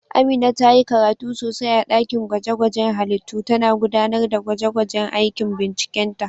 Amina ta yi karatu sosai a dakin gwaje-gwajen halittu, tana gudanar da gwaje-gwajen aikin bincikenta.